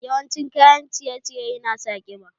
Yawan cin kayan ciye ciye yana sa ƙiba